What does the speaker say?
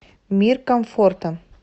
мир комфорта